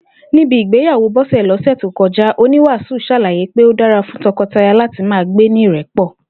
Níbi ìgbéyàwó Bó̩sè̩ lọ́sè̩ tó ko̩já, oníwàásù s̩àla̩yé pé ó dára fún to̩ko̩taya láti máa gbé ní ìré̩pò̩